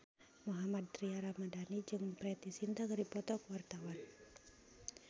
Mohammad Tria Ramadhani jeung Preity Zinta keur dipoto ku wartawan